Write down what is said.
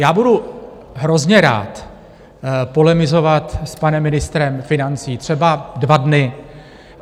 Já budu hrozně rád polemizovat s panem ministrem financí třeba dva dny.